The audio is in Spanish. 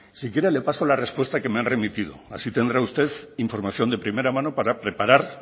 si quiere le paso la respuesta que me han remitido así tendrá usted información de primera mano para preparar